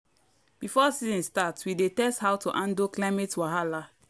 before season start we dey test how to handle climate wahala.